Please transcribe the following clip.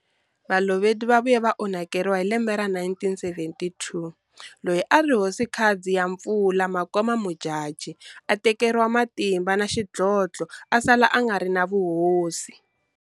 Balobedu va vuye va onhakeriwa hi lembe ra 1972 loyi a ri Hosikazi ya Mpfula Makoma Modjadji a tekeriwe matimba na xidlodlo a sala a nga ri na vuhosi.